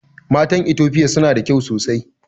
Matan itofia suna da kyau sosai